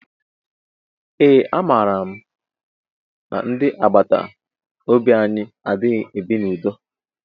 Ee a mara mụ na ndị agbataobi anyị adịghị ebi na udo.